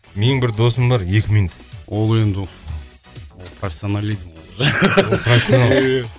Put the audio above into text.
менің бір досым бар екі минут ол енді ол профессионализм